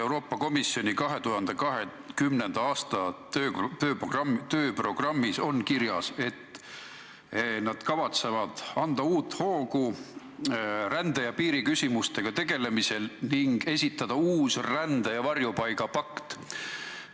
Euroopa Komisjoni 2020. aasta tööprogrammis on kirjas, et nad kavatsevad anda uut hoogu rände- ja piiriküsimustega tegelemisele ning esitada uue rände- ja varjupaigapakti.